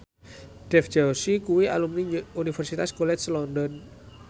Dev Joshi kuwi alumni Universitas College London